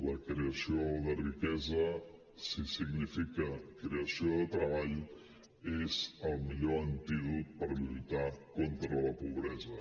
la creació de riquesa si significa creació de treball és el millor antídot per lluitar contra la pobresa